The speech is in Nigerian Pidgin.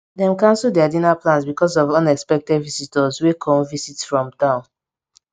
dem cancel dia dinner plans because of unexpected visitors wey kom visit from town